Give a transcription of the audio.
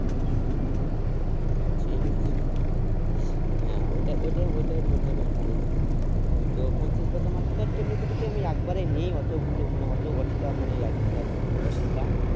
ঠিক আছে হ্যাঁ ওটাই ওটাই বললে বেশ ভালই হয় তো পঁয়ত্রিশ বস্তা যদি আমি একবারে নি ই অত গুলো মানে অত অতটা মানে এক এক বস্তা